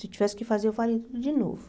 Se tivesse que fazer, eu faria tudo de novo.